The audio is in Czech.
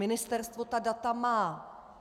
Ministerstvo ta data má.